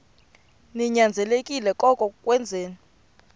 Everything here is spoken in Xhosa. ninyanzelekile koko wenzeni